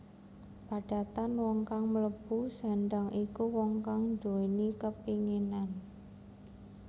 Padatan wong kang mlebu sendhang iku wong kang nduwéni kepènginan